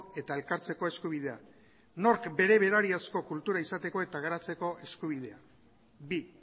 eta elkartzeko eskubidea nork bere berariazko kultura izateko eta garatzeko eskubidea bi